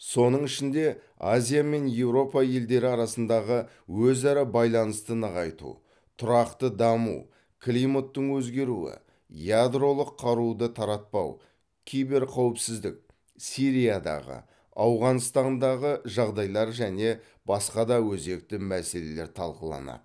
соның ішінде азия мен еуропа елдері арасындағы өзара байланысты нығайту тұрақты даму климаттың өзгеруі ядролық қаруды таратпау киберқауіпсіздік сириядағы ауғанстандағы жағдайлар және басқа да өзекті мәселелер талқыланады